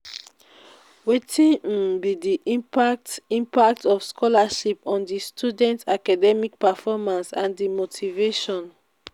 wetin um be di impact impact of scholarship on di students' academic performance and di motivation?